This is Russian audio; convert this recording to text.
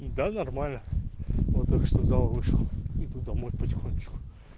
да нормально вот только что сдал вышел иду домой потихонечку